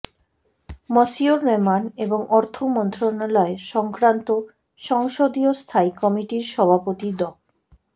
মসিউর রহমান এবং অর্থ মন্ত্রণালয় সংক্রান্ত সংসদীয় স্থায়ী কমিটির সভাপতি ড